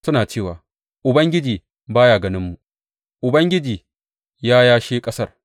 Suna cewa, Ubangiji ba ya ganinmu; Ubangiji ya yashe ƙasar.’